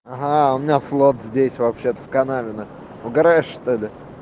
ага а у меня флот здесь вообще-то в канавино угараешь что ли